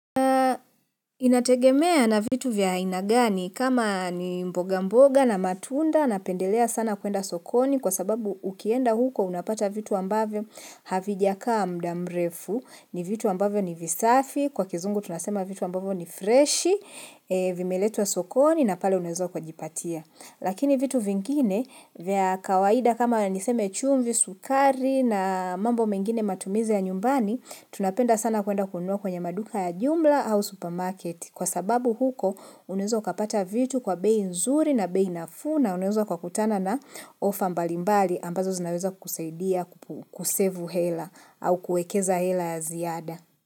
Inategemea na vitu vya aina gani kama ni mboga mboga na matunda na pendelea sana kuenda sokoni kwa sababu ukienda huko unapata vitu ambavyo havijakaa mdamrefu, ni vitu ambavyo ni visafi, kwa kizungu tunasema vitu ambavyo ni freshi, vimeletwa sokoni na pale unaweza uka jipatia. Lakini vitu vingine, vya kawaida kama niseme chumvi, sukari na mambo mengine matumizi ya nyumbani, tunapenda sana kuenda kunua kwenye maduka ya jumla au supermarket. Kwa sababu huko, unaweza ukapata vitu kwa bei nzuri na bei nafuu na, unaweza ukutana na ofa mbalimbali ambazo zinaweza kukusadia kusevu hela au kuekeza hela ya ziada.